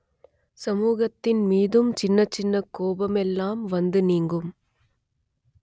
சமூகத்தின் மீதும் சின்ன சின்ன கோபமெல்லாம் வந்து நீங்கும்